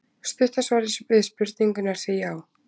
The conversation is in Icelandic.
Stutta svarið við spurningunni er því já!